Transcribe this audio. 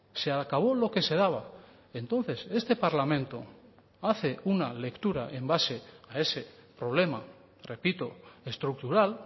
se acabó lo que se daba entonces este parlamento hace una lectura en base a ese problema repito estructural